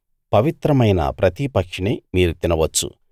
పవిత్రమైన ప్రతి పక్షినీ మీరు తినవచ్చు